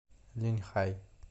линьхай